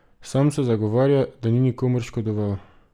Sam se zagovarja, da ni nikomur škodoval!